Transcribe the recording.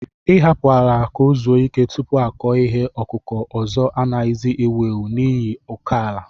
Ị hapụtụ ala ka o zụo ike tupu akọ ihe ọkụkụ ọzọ anaghịzi ewu ewu n'ihi ụkọ ala